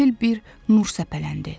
Qəfil bir nur səpələndi.